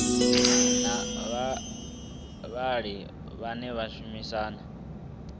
na vhavhali vhane vha shumisa